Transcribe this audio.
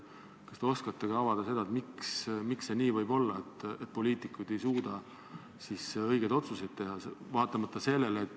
Kas te oskate ehk avada, miks see nii on, et poliitikud ei suuda õigeid otsuseid teha?